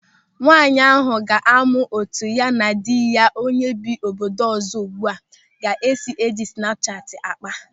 Nwaanyị ahụ ga-amụ etu ya na di ya onye bi n'obodo ọzọ ugbu a ga-esi eji snapu chati ákpá.